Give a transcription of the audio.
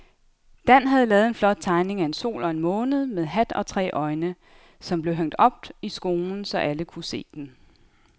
Dan havde lavet en flot tegning af en sol og en måne med hat og tre øjne, som blev hængt op i skolen, så alle kunne se den.